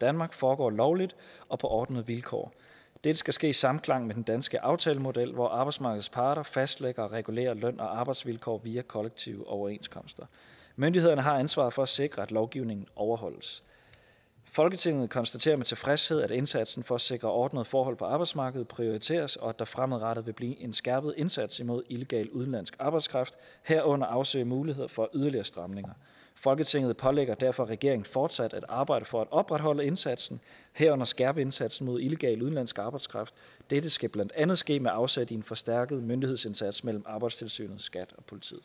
danmark foregår lovligt og på ordnede vilkår dette skal ske i samklang med den danske aftalemodel hvor arbejdsmarkedets parter fastlægger og regulerer løn og arbejdsvilkår via kollektive overenskomster myndighederne har ansvaret for at sikre at lovgivningen overholdes folketinget konstaterer med tilfredshed at indsatsen for at sikre ordnede forhold på arbejdsmarkedet prioriteres og at der fremadrettet vil blive en skærpet indsats mod illegal udenlandsk arbejdskraft herunder afsøge mulighed for yderligere stramninger folketinget pålægger derfor regeringen fortsat at arbejde for at opretholde indsatsen herunder skærpe indsatsen mod illegal udenlandsk arbejdskraft dette skal blandt andet ske med afsæt i en forstærket myndighedsindsats mellem arbejdstilsynet skat